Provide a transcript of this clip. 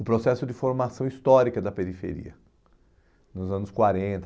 o processo de formação histórica da periferia, nos anos quarenta